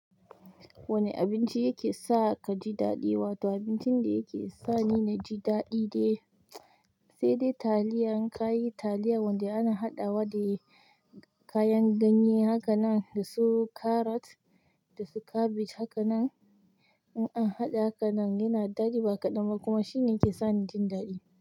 Wanne abinci yake sa ka ji daɗi? Wato abincin da yake sa ni na ji daɗi de, se dai taliya. In ka yi taliya wanda ana haɗawa de kayan ganye haka nan da su carrot da su cabbage haka nan, in an haɗa haka nan yana daɗi ba kaɗan ba kuma shine yake sani jin daɗi.